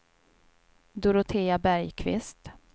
Dorotea Bergqvist